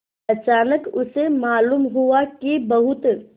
अचानक उसे मालूम हुआ कि बहुत